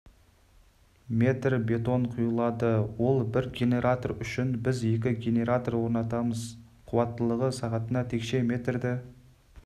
метр бетон құйылады ол бір генаратор үшін біз екі генератор орнатамыз қуаттылығы сағатына текше метрді